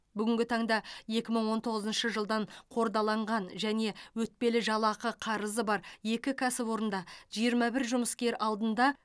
бүгінгі таңда екі мың он тоғызыншы жылдан қордаланған және өтпелі жалақы қарызы бар екі кәсіпорында жиырма бір жұмыскер алдында